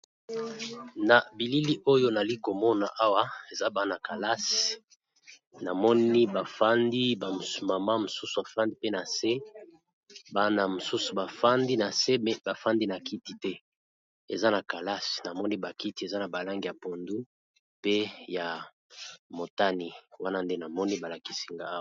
Na bilili oyo nali komona awa eza bana kalasi. Namoni bafandi mama mosusu bafandi pe na se bana mosusu bafandi na se me bafandi na kiti te eza na kalasi na moni bakiti eza na balange ya pondu pe ya motani wana nde namoni balakisi ngai.